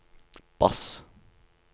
bass